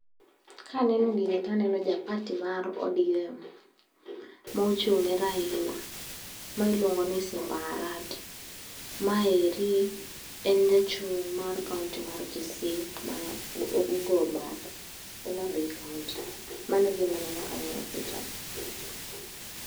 Kaneno gini taneno ja pati mar ODM mochung'ne Raila. Ma iluongo ni Simba Arati. Maeri en jachung' mar kaonti mar Kisii ma ogo bath Homabay kaonti. Mano e gima aneno ka ang'iyo pichani.